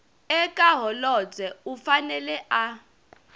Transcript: eka holobye u fanele a